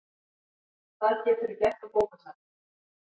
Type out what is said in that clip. Það geturðu gert á bókasafninu